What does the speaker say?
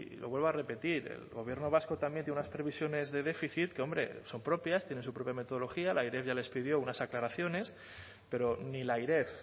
lo vuelvo a repetir el gobierno vasco también tiene unas previsiones de déficit que hombre son propias tienen su propia metodología la airef ya les pidió unas aclaraciones pero ni la airef